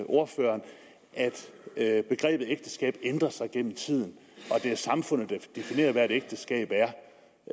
ordføreren at begrebet ægteskab ændrer sig gennem tiden og at det er samfundet der definerer hvad et ægteskab er